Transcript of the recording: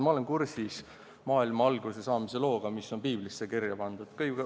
Ma olen kursis maailma alguse saamise looga, mis on piiblisse kirja pandud.